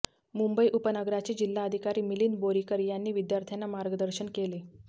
मुंबई उपनगराचे जिल्हाधिकारी मिलिंद बोरीकर यांनी विद्यार्थ्यांना मार्गदर्शन केले